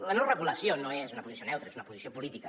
la no regulació no és una posició neutra és una posició política